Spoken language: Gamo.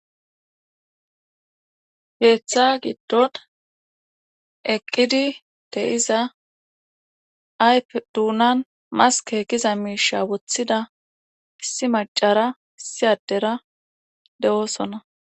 Keetha giddon eqqidi de7iza ayfe duunan maskke giza miisha wothida issi maccara issi addera de7oosona.